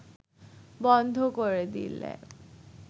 বন্ধ করে দিলে